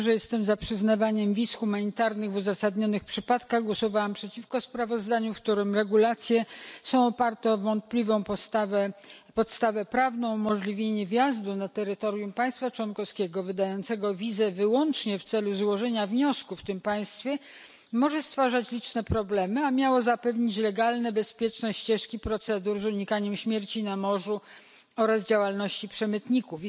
Mimo że jestem za przyznawaniem wiz humanitarnych w uzasadnionych przypadkach, głosowałam przeciwko sprawozdaniu, w którym regulacje opierają się na wątpliwej podstawie prawnej. Umożliwienie wjazdu na terytorium państwa członkowskiego wydającego wizę wyłącznie w celu złożenia wniosku w tym państwie może stwarzać liczne problemy, a miało zapewnić legalne i bezpieczne ścieżki procedur, pozwalające na unikanie śmierci na morzu i działalności przemytników.